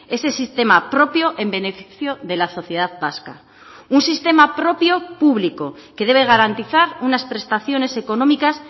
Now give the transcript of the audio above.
ese sistema propio en beneficio de la sociedad vasca un sistema propio público que debe garantizar unas prestaciones económicas